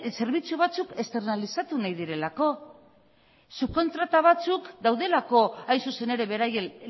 zerbitzu batzuk esternalizatu nahi direlako subkontrata batzuk daudelako hain zuzen ere beraien